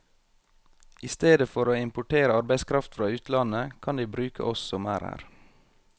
I stedet for å importere arbeidskraft fra utlandet, kan de bruke oss som er her.